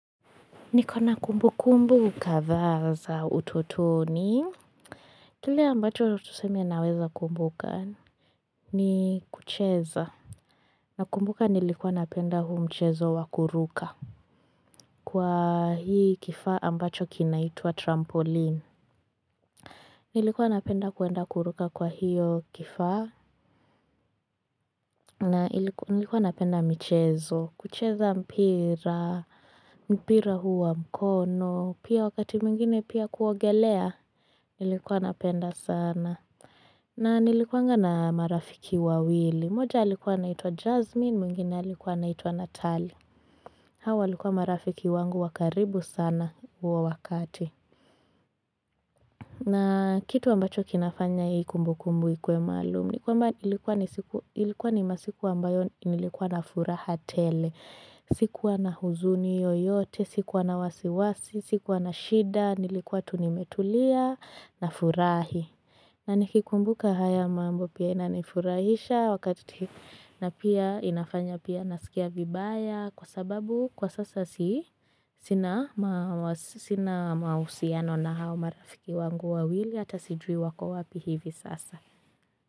Niko na kumbukumbu kadhaa za utotoni. Kile ambacho tuseme naweza kumbuka. Ni kucheza. Nakumbuka nilikuwa napenda huu mchezo wa kuruka. Kwa hii kifaa ambacho kinaitwa trampoline. Nilikuwa napenda kuenda kuruka kwa hiyo kifaa. Na nilikuwa napenda mchezo. Kucheza mpira. Mpira huu wa mkono. Pia wakati mwingine pia kuogelea. Nilikuwa napenda sana. Na nilikuwanga na marafiki wawili. Moja alikuwa anaitwa Jasmine, mwingine alikuwa anaitwa Natalie. Hawa walikuwa marafiki wangu wa karibu sana huo wakati. Na kitu ambacho kinafanya hii kumbukumbu ikuwe maalumu ni kwamba ilikuwa ni masiku ambayo nilikuwa na furaha tele. Sikuwa na huzuni yoyote, sikuwa na wasiwasi, sikuwa na shida, nilikuwa tu nimetulia, nafurahi. Na nikikumbuka haya mambo pia inanifurahisha wakati na pia inafanya pia nasikia vibaya kwa sababu kwa sasa si sina mahusiano na hao marafiki wangu wawili hata sijui wako wapi hivi sasa.